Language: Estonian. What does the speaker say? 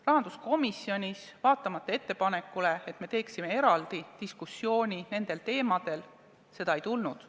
Rahanduskomisjonis seda ei tulnud, vaatamata ettepanekule korraldada nendel teemadel eraldi diskussioon.